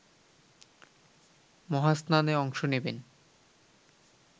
মহাস্নানে অংশ নেবেন